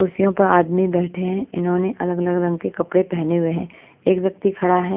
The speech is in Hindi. कुर्सियों पर आदमी बैठे हैं इन्होंने अलग अलग रंग के कपड़े पहने हुए हैं एक व्यक्ति खड़ा है।